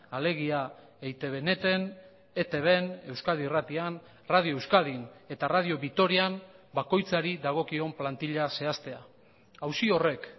alegia eitb net en etbn euskadi irratian radio euskadin eta radio vitorian bakoitzari dagokion plantila zehaztea auzi horrek